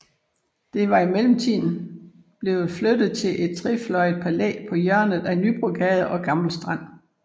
Det var i mellemtiden blev flyttet til et trefløjet palæ på hjørnet ved Nybrogade og Gammel Strand